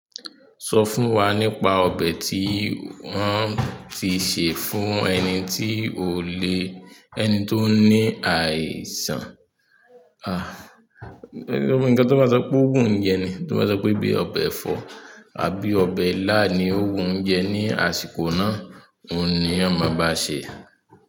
Sọ fún wa nípa ọbẹ̀ tí wọ́n ti sè fún ẹni tí ò le, ẹni tó ní àìsàn. Ah! Ẹni tó máa sọ pé ó wùn jẹ ni, tí ó máa sọ pé bíi ọbẹ̀ ẹ̀fọ́ àbí ọbẹ̀ ilá ni ó wùn jẹ ní àsìkò náà, òun ni a máa bá ṣè.